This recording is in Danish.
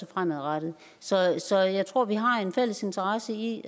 fremadrettet så jeg så jeg tror vi har en fælles interesse i